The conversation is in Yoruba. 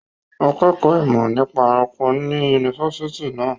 Akẹ́kọ̀ọ́ ìmọ̀ nípa ẹranko ni ní yunifásitì náà.